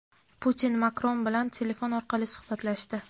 Putin Makron bilan telefon orqali suhbatlashdi.